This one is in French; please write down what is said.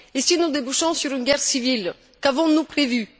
Et si nous débouchons sur une guerre civile, qu'avons nous prévu?